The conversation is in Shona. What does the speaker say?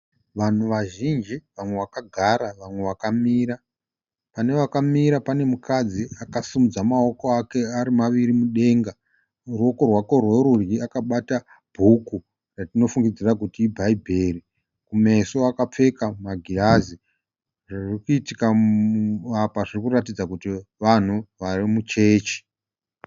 Vanhu vazhinji vamwe vakagara vamwe vakamira . Pane vakamira panemukadzi akasimudza maoko ake ari maviri mudenga. Muruoko rwake rwerudyi akabata bhuku ratinofungidzira kuti i Bhaibheri. Kumeso akapfeka magirazi. Zvirikuitika apa zvirikuratidza kuti vanhu vari muchechi.